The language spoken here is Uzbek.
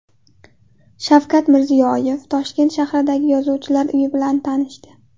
Shavkat Mirziyoyev Toshkent shahridagi yozuvchilar uyi bilan tanishdi.